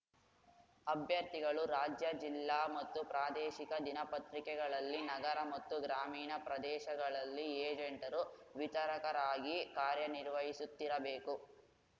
ಅಭ್ಯರ್ಥಿಗಳು ರಾಜ್ಯ ಜಿಲ್ಲಾ ಮತ್ತು ಪ್ರಾದೇಶಿಕ ದಿನಪತ್ರಿಕೆಗಳಲ್ಲಿ ನಗರ ಮತ್ತು ಗ್ರಾಮೀಣ ಪ್ರದೇಶಗಳಲ್ಲಿ ಏಜೆಂಟರು ವಿತರಕರಾಗಿ ಕಾರ್ಯನಿರ್ವಹಿಸುತ್ತಿರಬೇಕು